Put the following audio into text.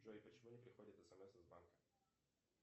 джой почему не приходит смс из банка